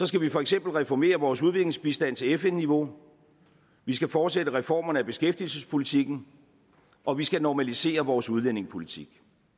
skal vi for eksempel reformere vores udviklingsbistand til fn niveau vi skal fortsætte reformerne af beskæftigelsespolitikken og vi skal normalisere vores udlændingepolitik